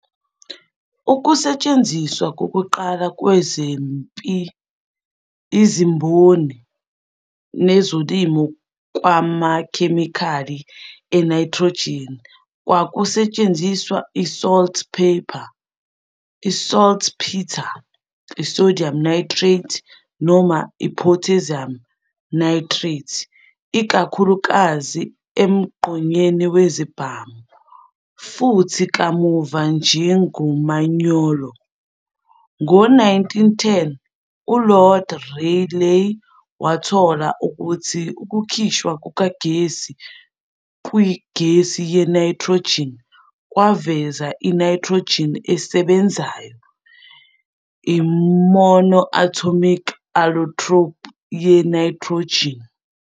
Ukusetshenziswa kokuqala kwezempi, izimboni, nezolimo kwamakhemikhali e-nitrogen kwakusetshenziswa i-saltpeter, i-sodium nitrate noma i-potassium nitrate, ikakhulukazi emgqonyeni wezibhamu, futhi kamuva njengomanyolo. Ngo-1910, u-Lord Rayleigh wathola ukuthi ukukhishwa kukagesi kwigesi ye-nitrogen kwaveza "i-nitrogen esebenzayo", i-monatomic allotrope ye-nitrogen.